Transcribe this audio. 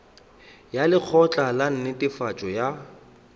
ya lekgotla la netefatšo ya